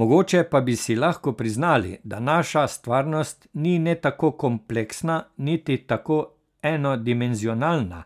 Mogoče pa bi si lahko priznali, da naša stvarnost ni ne tako kompleksna niti tako enodimenzionalna,